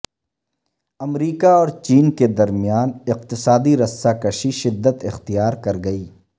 امریکہ اور چین کے درمیان اقتصادی رسہ کشی شدت اختیار کرگئی